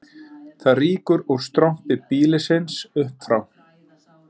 Það rýkur úr strompi býlisins upp frá